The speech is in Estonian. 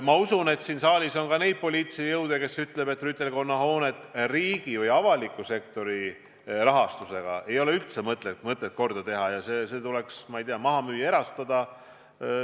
Ma usun, et siin saalis on ka neid poliitilisi jõude, kes ütlevad, et rüütelkonna hoonet ei ole üldse mõtet riigi või avaliku sektori rahaga korda teha ja see tuleks, ma ei tea, maha müüa, erastada.